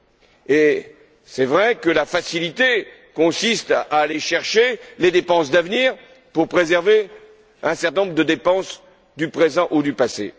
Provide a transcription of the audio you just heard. Il est vrai que la facilité consiste à aller chercher les dépenses d'avenir pour préserver un certain nombre de dépenses du présent ou du passé.